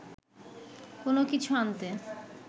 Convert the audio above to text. কোনো কিছু আনতে